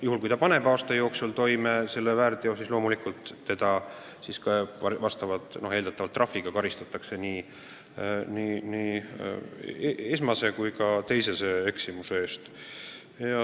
Juhul kui ta paneb aasta jooksul toime uue väärteo, siis loomulikult karistatakse teda eeldatavalt trahviga nii esmase kui ka teisese eksimuse eest.